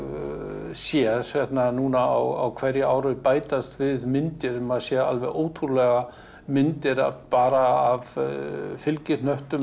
sé hérna núna á hverju ári bætast við myndir maður sér alveg ótrúlega myndir bara af fylgihnöttum